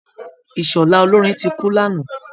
Ìṣọ̀lá olórin ti kú lánàá